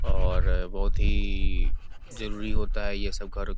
और बहुत ही जरूरी होता है ये सब कर --